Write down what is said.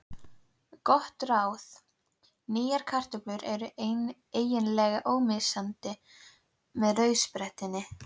Gott ráð: Nýjar kartöflur eru eiginlega ómissandi með rauðsprettunni.